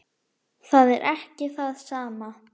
Það er ekki það sama.